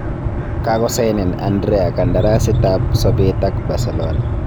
Kogosainen Andrea kandarasiit ab sobeet ak Barcelona.